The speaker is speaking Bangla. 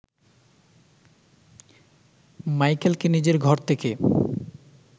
মাইকেলকে নিজের ঘর থেকে